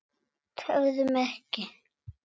Tefðu mig ekki.